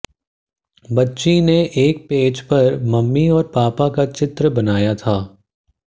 बच्ची ने एक पेज पर मम्मी और पापा का चित्र बनाया था